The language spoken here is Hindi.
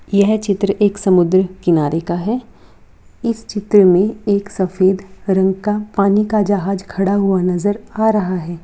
यह चित्र एक समुन्द्र किनारे का है इस चित्र में एक सफेद रंग का पानी का जहाज खड़ा हुआ नजर आ रहा है।